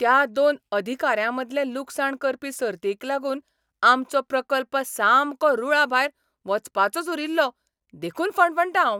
त्या दोन अधिकाऱ्यांमदले लुकसाण करपी सर्तीक लागून आमचो प्रकल्प सामको रूळाभायर वचपाचोच उरील्लो देखून फणफणटां हांव.